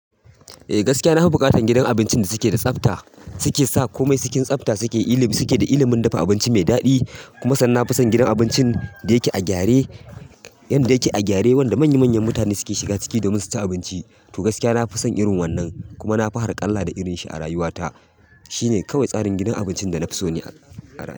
Eh gaskiya na fi buƙatan gidan abincin da suke da tsafta, suke sa komai cikin tsafta suke da ilimin dafa abinci mai daɗi. Kuma sannan na fi son gidan abincin da yake a gyare wanda manya manyan mutane suke shiga ciki domin su ci abinci. To gaskiya na fi son irin wannan kuma na fi harkalla da irin shi a rayuwata. Shi ne kawai tsarin gidan abincin da na fi so ni a rayuwata.